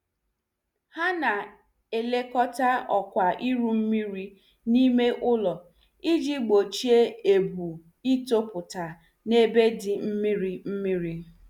Ha na- elekọta ọkwa iru mmiri n' ime ụlọ, iji gbochie ebu itoputa n' ebe dị mmiri mmiri.